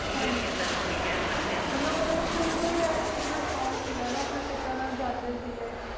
clare ਕੀਤਾ ਹਨ ਗ ਜੋ ਕੀ ਕਹ ਸਕ ਡੀ ਆਂ ਮਤਲਬ ਹੋਣਾ ਦਾ ਸੁਰੂ ਤੋ ਅਯਸ ਚੀਜ਼ ਦਾ ਸ਼ੋਕ਼ ਕ ਗਾ ਨਾ ਅਪਨੀ ਪਿਤਾ ਨਾਲ ਜਾਂਦੀ ਕ ਗੀ